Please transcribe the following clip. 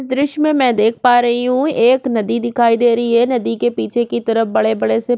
ये दृश्य में मई देख रही हु एक नदी दिखाई दे रही है नदी के पीछे की तरफ बड़े-बड़े से --